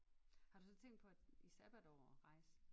Har du så tænkt på at i sabbatår at rejse?